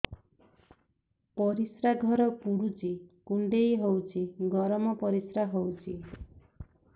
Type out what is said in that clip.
ପରିସ୍ରା ଘର ପୁଡୁଚି କୁଣ୍ଡେଇ ହଉଚି ଗରମ ପରିସ୍ରା ହଉଚି